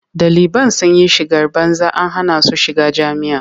Ɗaliban sun yi shigar banza an hana su shiga jami'a.